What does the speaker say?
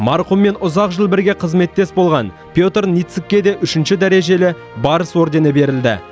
марқұммен ұзақ жыл бірге қызметтес болған петр ницыкке де үшінші дәрежелі барыс ордені берілді